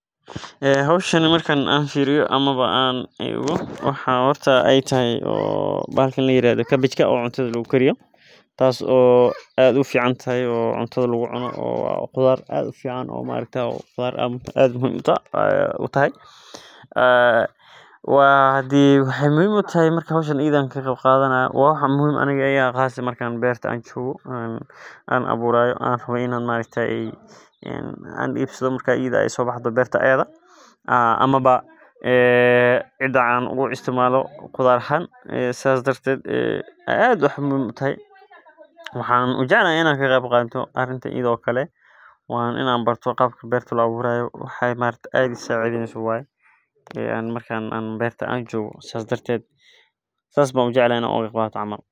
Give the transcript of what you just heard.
Howshan marki aan fiiriyo waxaa yaala sanduuq yaryar oo nafaqo leh waxaa muhiim ah in si joogta ah loo waraabiyo gaar ahaan marka aay tagto isbitaalka waxaa lagu sameeya warshada marka la isticmaalo waxaa kudaraa subag ama saliid.